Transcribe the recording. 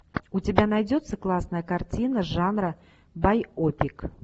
у тебя найдется классная картина жанра байопик